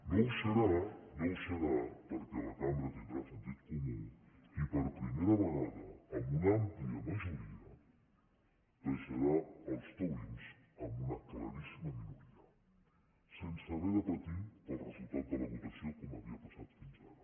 no ho serà no ho serà perquè la cambra tindrà sentit comú i per primera vegada amb una àmplia majoria deixarà els taurins en una claríssima minoria sense haver de patir pel resultat de la votació com havia passat fins ara